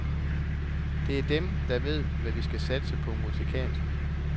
Det er dem, der ved, hvad vi skal satse på musikalsk.